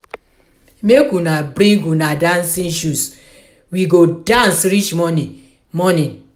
make una bring una dancing shoes we go dance reach morning morning